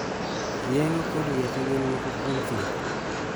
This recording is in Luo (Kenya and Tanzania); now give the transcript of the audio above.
Yeng'o kod yedhe gin moko kuom thieth.